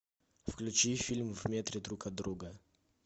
включи фильм в метре друг от друга